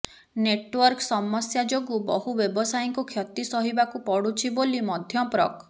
network ସମସ୍ୟା ଯୋଗୁ ବହୁ ବ୍ୟବସାୟୀଙ୍କୁ କ୍ଷତି ସହିବାକୁ ପଡୁଛି ବୋଲି ମଧ୍ୟ ପ୍ରକ